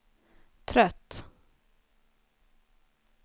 trött